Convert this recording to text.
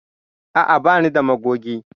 A'a, ba ni da magogi.